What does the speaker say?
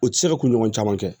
U tɛ se ka kunɲɔgɔn caman kɛ